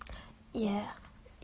е